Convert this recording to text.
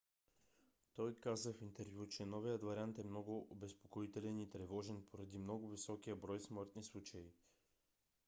той каза в интервю че новият вариант е много обезпокоителен и е тревожен поради много високия брой смъртни случаи.